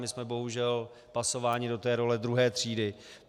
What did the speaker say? My jsme bohužel pasováni do té role druhé třídy.